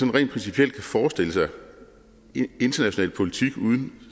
rent principielt kan forestille sig international politik uden